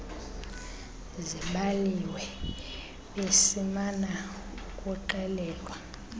zibaliwe besimana ukuxelelwa